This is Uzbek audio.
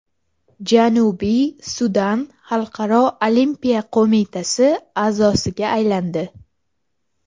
Janubiy Sudan Xalqaro olimpiya qo‘mitasi a’zosiga aylandi.